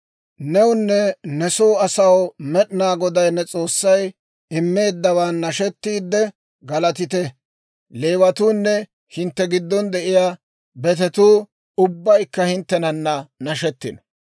Newunne ne soo asaw Med'inaa Goday ne S'oossay immeeddawaan nashetiidde, galatite; Leewatuunne hintte giddon de'iyaa betetuu ubbaykka hinttenana nashetino.